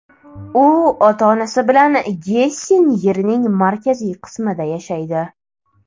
U ota-onasi bilan Gessen yerining markaziy qismida yashaydi.